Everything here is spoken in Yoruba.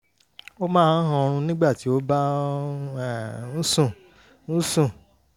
ó máa ń hanrun nígbà tí ó bá um ń sùn ń sùn